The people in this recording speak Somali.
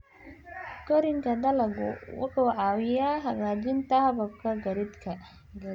Koriinka dalaggu wuxuu caawiyaa hagaajinta hababka gaadiidka.